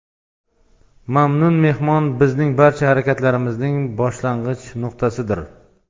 Mamnun mehmon - bizning barcha harakatlarimizning boshlang‘ich nuqtasidir.